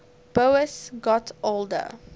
boas got older